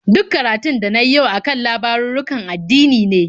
Duk karatun da na yi yau a kan labarurrukan addini ne.